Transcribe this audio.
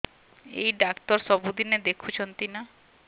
ଏଇ ଡ଼ାକ୍ତର ସବୁଦିନେ ଦେଖୁଛନ୍ତି ନା